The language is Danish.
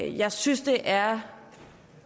jeg synes det er